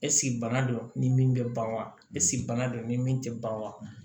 Esike bana don ni min bɛ ban wa esike bana don ni min tɛ ban wa